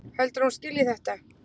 Heldurðu að hún skilji þetta?